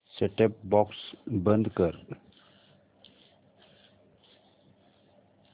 set top box बंद कर